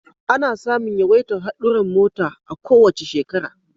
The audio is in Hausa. Ana samun yawaitar hadurran mota a kowace shekara